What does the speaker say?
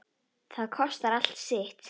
Það kostar allt sitt.